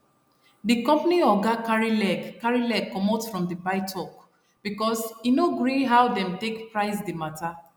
the company oga carry leg carry leg comot from the buytalk because e no gree how dem take price the matter